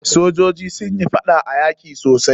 Sojoji sun yi faɗa a yaki sosai.